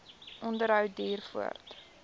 onderhou duur voort